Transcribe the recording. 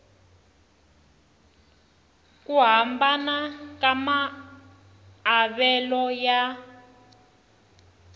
ku hambana ka maavelo ya